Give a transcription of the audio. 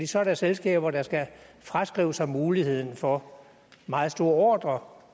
så er der selskaber der skal fraskrive sig muligheden for meget store ordrer